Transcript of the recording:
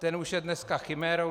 Ten už je dneska chimérou.